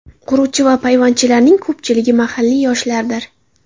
Quruvchi va payvandchilarning ko‘pchiligi mahalliy yoshlardir.